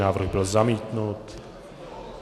Návrh byl zamítnut.